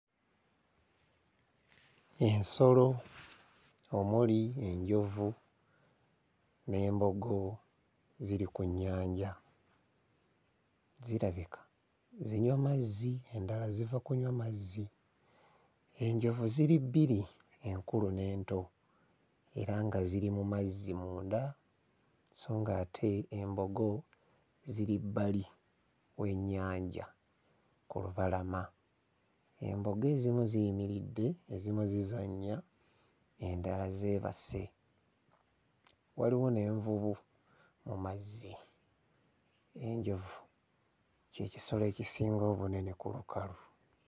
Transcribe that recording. Ensolo omuli enjovu n'embogo ziri ku nnyanja zirabika zinywa mazzi, endala ziva kunywa mazzi. Enjovu ziri bbiri: enkulu n'ento era nga ziri mu mazzi munda so ng'ate embogo ziri bbali w'ennyanja ku lubalama. Embogo ezimu ziyimiridde, ezimu zizannya, endala zeebase, waliwo n'envubu mu mazzi. Enjovu ky'ekisolo ekisinga obunene ku lukalu.